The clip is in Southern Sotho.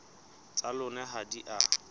tsa lona ha di a